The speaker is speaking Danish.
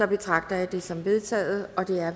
betragter jeg det som vedtaget